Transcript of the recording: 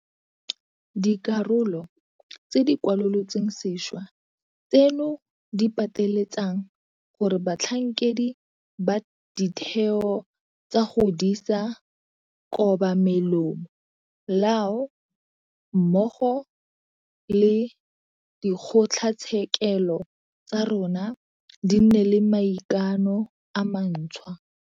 Dikarolo tse di kwalolotsweng sešwa tseno di pateletsang gore batlhankedi ba ditheo tsa go disa kobamelomo lao mmogo le dikgotlatshekelo tsa rona di nne le maikano a mantšhwa.